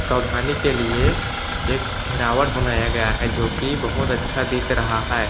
सावधानी की लिए एक घेरावट बनाया गया है जोकी बहुत अच्छा दिख रहा है।